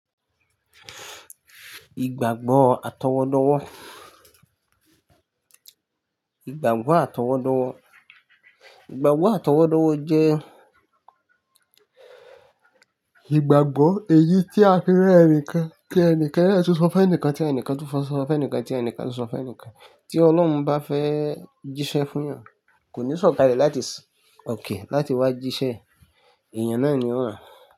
Ìgbàgbọ́ àtọwọ́dọ́wọ́. Ìgbàgbọ́ àtọwọ́dọ́wọ́, ìgbàgbọ́ àtọwọ́dọ́wọ́ jẹ́ ìgbàgbọ́ èyí tí a fi rẹ́ ẹni kan pé ẹni kan náà tí ó sọ fún ẹnikan tí ẹnikan tí ó sọ fún ẹnikan tí ẹnikan tí ó sọ fún ẹnikan tí Ọlọ́run bá fẹ́ jíṣẹ́ fún èèyàn, kò ní sọ̀kalẹ̀ láti sin òkè láti wá jíṣẹ́, èèyàn náà ni ó ran.